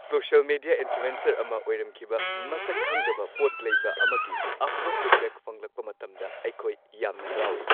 Social media influencer ꯑꯃ ꯑꯣꯏꯔꯝꯈꯤꯕ ꯃꯁꯛ ꯈꯪꯗꯕ ꯄꯣꯠꯂꯩꯕ ꯑꯃꯒꯤ ꯑꯐꯕ ꯐꯤꯗꯕꯦꯛ ꯐꯪꯂꯛꯄ ꯃꯇꯝꯗ ꯑꯩꯈꯣꯏ ꯌꯥꯝꯅ ꯍꯔꯥꯎꯏ ꯫